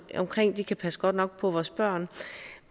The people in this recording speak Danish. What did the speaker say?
de kan passe godt nok på vores børn